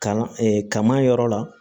Kan kaman yɔrɔ la